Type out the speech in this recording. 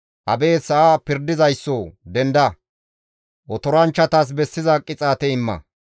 Abeet sa7a pirdizayssoo! Denda! Otoranchchatas bessiza qixaate imma.